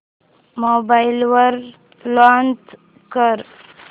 mobile वर launch कर